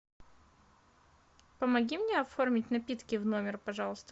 помоги мне оформить напитки в номер пожалуйста